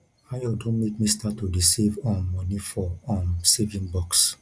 ayo don make me start to dey save um money for um saving box